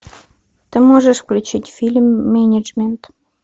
ты можешь включить фильм менеджмент